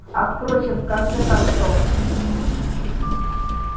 а впрочем в конце концов